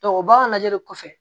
o b'a lajɛli kɔfɛ